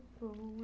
Muito bom.